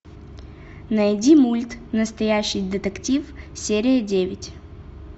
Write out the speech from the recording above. найди мульт настоящий детектив серия девять